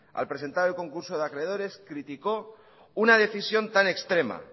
al presentar el concurso de acreedores criticó una decisión tan extrema